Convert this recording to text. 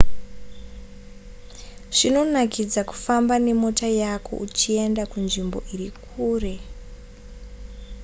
zvinonakidza kufamba nemota yako uchienda kunzvimbo iri kure